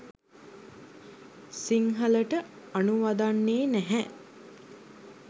සිංහලට අනුවදන්නේ නැහැ.